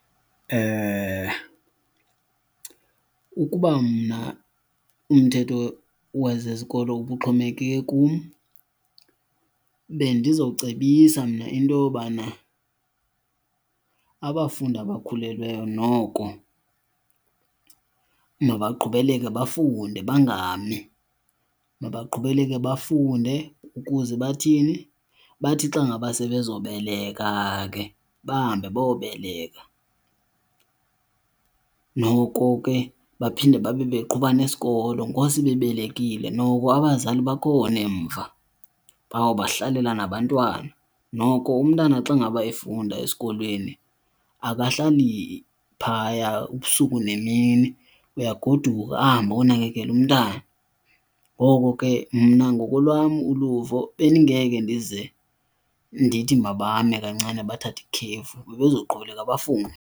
Ukuba mna umthetho wesi sikolo ubuxhomekeke kum bendizocebisa mna into yobana abafundi abakhulelweyo noko mabaqhubeleke bafunde, bangami. Mabaqhubeleke bafunde. Ukuze bathini? Bathi xa ngaba sebezobeleka ke bahambe bayobeleka, noko ke baphinde babe beqhuba nesikolo ngoku sebebelekile. Noko abazali bakhona emva bawubahlalela nabantwana. Noko umntana xa ngaba efunda esikolweni akahlali phaya ubusuku nemini, uyagoduka ahambe ayonakekela umntana. Ngoko ke mna ngokolwam uluvo bendingeke ndize ndithi mabame kancane bathathe ikhefu, bebezoqhubeleka bafunde.